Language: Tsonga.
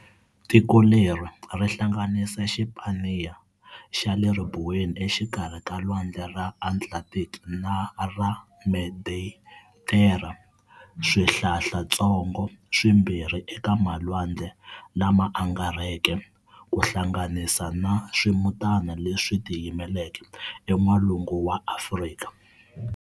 Tiko leri ri hlanganisa Xipaniya xa le ribuweni exikarhi ka Lwandle ra Atlantiki na ra Meditera, Swihlalantsongo swi mbirhi eka malwandle lama angarheke, kuhlanganisa na swimutana leswi tiyimeleke e Nwalungwini wa Afrika.